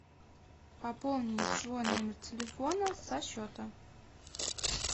пополнить свой номер телефона со счета